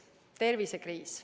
Tervisekriis.